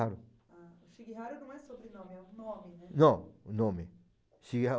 Shigihara não é sobrenome, é o nome, né? Não, nome